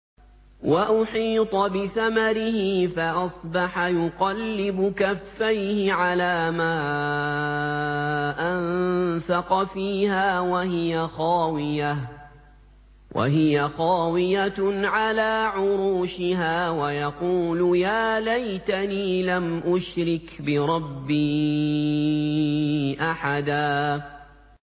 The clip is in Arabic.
وَأُحِيطَ بِثَمَرِهِ فَأَصْبَحَ يُقَلِّبُ كَفَّيْهِ عَلَىٰ مَا أَنفَقَ فِيهَا وَهِيَ خَاوِيَةٌ عَلَىٰ عُرُوشِهَا وَيَقُولُ يَا لَيْتَنِي لَمْ أُشْرِكْ بِرَبِّي أَحَدًا